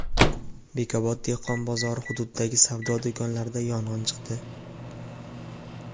Bekobod dehqon bozori hududidagi savdo do‘konlarida yong‘in chiqdi.